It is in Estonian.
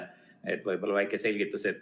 Võib-olla annate väikse selgituse.